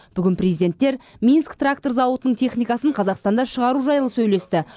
бүгін президенттер минск трактор зауытының техникасын қазақстанда шығару жайлы сөйлесті